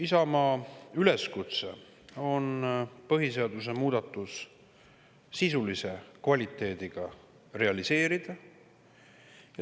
Isamaa üleskutse on põhiseaduse muudatus sisulise kvaliteediga realiseerida.